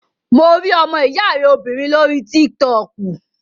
Mo rí ọmọ ìyá rẹ obìnrin lórí tík-tọkù